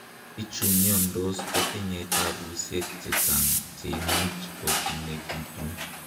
Bichu miondos kotinye tabusiek chechang' cheimuch kokimekitu.